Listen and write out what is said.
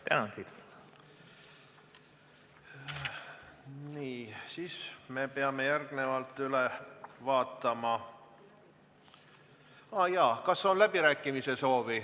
Kas on läbirääkimiste soovi?